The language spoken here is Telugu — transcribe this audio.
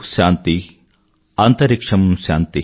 శాంతి అంతరిక్ష్యం శాంతి